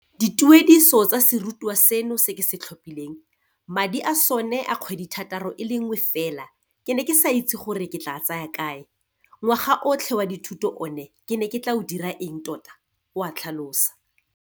Dituediso tsa serutwa seno se ke se tlhophileng, madi a sone a kgwedithataro e le nngwe fela ke ne ke sa itse gore ke tla a tsaya kae, ngwaga otlhe wa dithuto one ke ne ke tla o dira eng tota, o a tlhalosa.